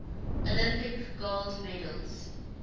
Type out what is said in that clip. olympic gold medals